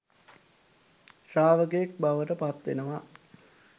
ශ්‍රාවකයෙක් බවට පත්වෙනවා.